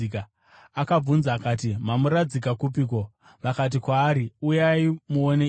Akavabvunza akati, “Mamuradzika kupiko?” Vakati kwaari, “Uyai muone, Ishe.”